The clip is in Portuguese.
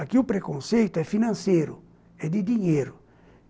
Aqui o preconceito é financeiro, é de dinheiro.